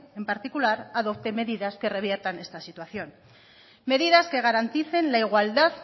en particular adopte medidas que revierta esta situación medidas que garanticen la igualdad